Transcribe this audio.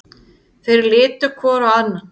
Þeir litu hvor á annan.